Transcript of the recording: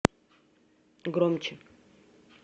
громче